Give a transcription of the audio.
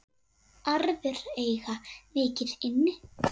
Aðrir eiga mikið inni.